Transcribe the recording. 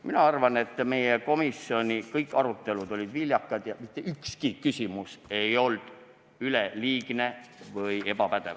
Mina arvan, et meie komisjoni arutelud olid kõik viljakad ja mitte ükski küsimus ei olnud üleliigne või ebapädev.